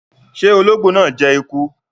Ṣe ologbo naa jẹ eku?